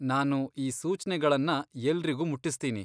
ನಾನು ಈ ಸೂಚ್ನೆಗಳನ್ನ ಎಲ್ರಿಗೂ ಮುಟ್ಟಿಸ್ತೀನಿ.